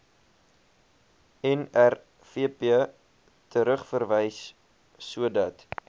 nrvp terugverwys sodat